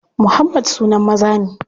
Muhammad sunan maza ne.